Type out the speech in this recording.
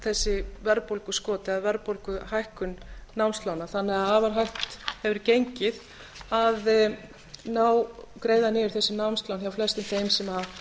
þessi verðbólguskot eða verðbólguhækkun námslána þannig að afar hægt hefur gengið að greiða niður þessi námslán hjá flestum þeim sem